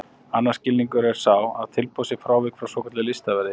Annar skilningur er sá að tilboð sé frávik frá svokölluðu listaverði.